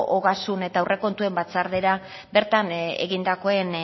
ogasun eta aurrekontuen batzordera bertan egindakoen